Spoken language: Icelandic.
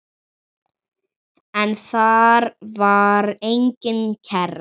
En þar var engin kerra.